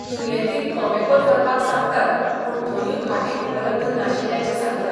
दुर्येतींक गॉमॅकाँत व्हरपाक सांगतात पूण थंयूय खाटी उपलब्ध नाशिल्ल्याचें सांगतात.